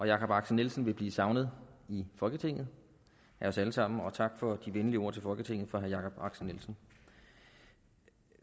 jakob axel nielsen vil blive savnet i folketinget af os alle sammen og tak for de venlige ord til folketinget fra herre jakob axel nielsen